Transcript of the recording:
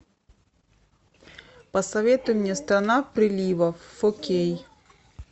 посоветуй мне страна приливов фо кей